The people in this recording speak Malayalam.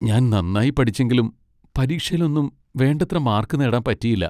ഞാൻ നന്നായി പഠിച്ചെങ്കിലും പരീക്ഷേലൊന്നും വേണ്ടത്ര മാർക്ക് നേടാൻ പറ്റിയില്ല.